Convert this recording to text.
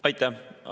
Aitäh!